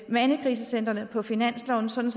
mandekrisecentrene på finansloven sådan